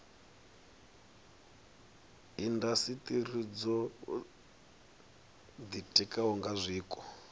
indasiteri dzo ditikaho nga zwiko